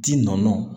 Tin nɔ